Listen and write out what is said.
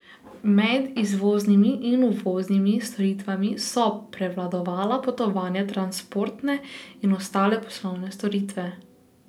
Med izvoznimi in uvoznimi storitvami so prevladovala potovanja, transportne in ostale poslovne storitve.